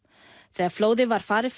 þegar flóðið var farið